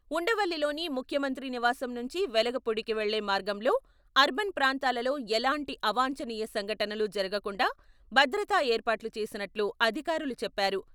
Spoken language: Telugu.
ఉండవల్లిలోని ముఖ్యమంత్రి నివాసం నుంచి వెలగపూడికి వెళ్లే మార్గంలో అర్బన్ ప్రాంతాలలో ఎలాంటి అవాంఛనీయ సంఘటనలు జరగకుండా భద్రత ఏర్పాట్లు చేసినట్లు అధికారులు చెప్పారు.